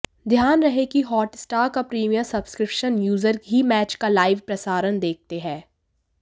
ध्यान रहे कि हॉटस्टार का प्रीमियम सब्सक्रिप्शन यूजर ही मैच का लाइव प्रसारण देखते हैं